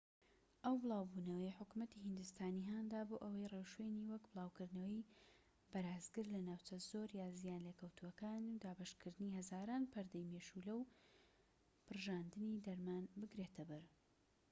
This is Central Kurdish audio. ئەو بڵاوبونەوەیە حکومەتی هیندستانی هاندا بۆ ئەوەی ڕێوشوێنی وەک بڵاوکردنەوەی بەرازگر لە ناوچە زۆر زیان لێکەوتووەکان و دابەشکردنی هەزاران پەردەی مێشولە و پرژاندنی دەرمان بگرێتە بەر